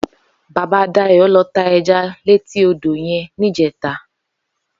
Baba Dayo lò tá èjá létí ódó yèn nijèjá